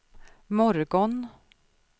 morgon